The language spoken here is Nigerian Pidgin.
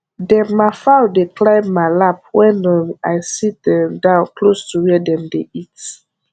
dem ma fowl dey climb ma lap wen um i sit um down close to where dem dey eat